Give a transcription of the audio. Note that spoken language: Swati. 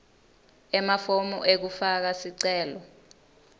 emafomu ekufaka sicelo